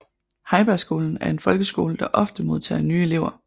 Heibergskolen er en folkeskole der ofte modtager nye elever